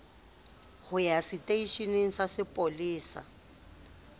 ho ya seteisheneng sa sepolesa